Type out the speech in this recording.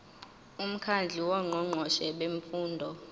umkhandlu wongqongqoshe bemfundo